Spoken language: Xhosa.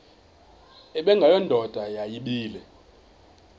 ubengwayo indoda yayibile